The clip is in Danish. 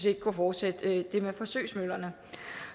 ikke kunne fortsætte det med forsøgsmøllerne